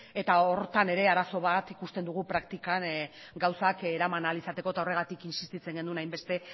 eta horretan ere arazo bat ikusten dugu praktikan gauzak eraman ahal izateko eta horregatik insistitzen genuen hainbeste